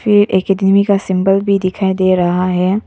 ये एकेडमी का सिंबल भी दिखाई दे रहा है।